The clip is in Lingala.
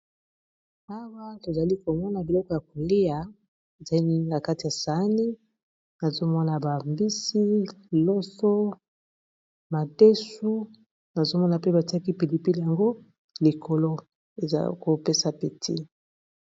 awa tozali komona biloko ya kolia na kati ya saani, nazomona bambisi ,loso ,madesu nazomona pe batiaki pilipi yango likolo ezakopesa appeti.